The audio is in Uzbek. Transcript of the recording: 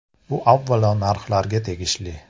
Bu avvalo narxlarga tegishli.